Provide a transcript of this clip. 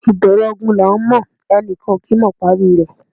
Ìbẹ̀rẹ̀ ogun là ńmọ̀; ẹni kan kì í mọ ìparí i rẹ̀.